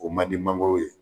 O man di mangoro ye.